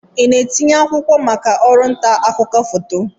Ị na-etinye akwụkwọ maka ọrụ nta akụkọ foto?